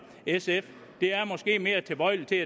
sf jeg er mere tilbøjelig til